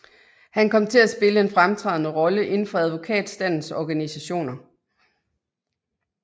Han kom til at spille en fremtrædende rolle inden for advokatstandens organisationer